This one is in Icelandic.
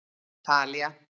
Talía